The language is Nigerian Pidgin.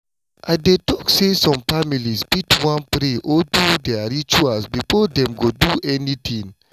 i dey talk say some families fit wan pray or do their rituals before dem go do anything.